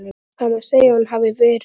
Það má segja að hún hafi verið.